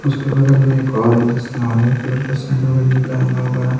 उसके बगल में एक और है जिसने ऑरेंज कलर सडों गंजी पहना हुआ है।